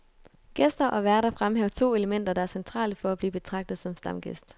Gæster og værter fremhæver to elementer, der er centrale for at blive betragtet som stamgæst.